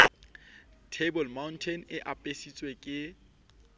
table mountain e apesitsweng ke